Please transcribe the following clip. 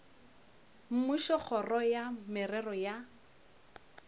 mmušo kgoro ya merero ya